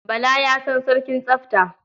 Bala ya san sarkin tsafta.